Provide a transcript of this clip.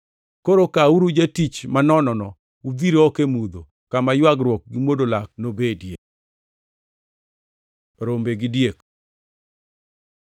Koro kawuru jatich manonono udhir oko e mudho, kama ywagruok gi mwodo lak nobedie.’ Rombe gi diek